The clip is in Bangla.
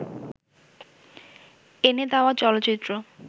এনে দেওয়া চলচ্চিত্র